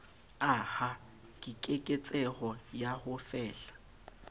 aha keketseho ya ho fehla